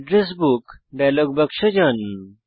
address book dialog বাক্সে যান